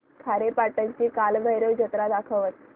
खारेपाटण ची कालभैरव जत्रा दाखवच